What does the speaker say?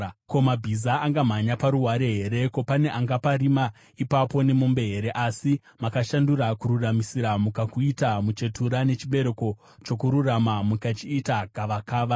Ko, mabhiza angamhanya paruware here? Ko, pane angaparima ipapo nemombe here? Asi makashandura kururamisira mukakuita muchetura, nechibereko chokururama mukachiita gavakava,